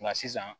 Nka sisan